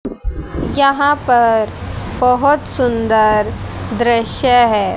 यहां पर बहोत सुन्दर दृश्य हैं।